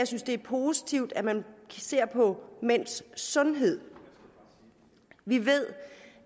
synes det er positivt at man ser på mænds sundhed vi ved